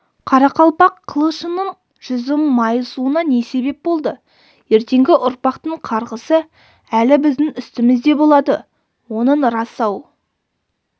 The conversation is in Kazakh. қарақалпақ қылышының жүзі майысуына не себеп болды ертеңгі ұрпақтың қарғысы әлі біздің үстімізде болады оның рас-ау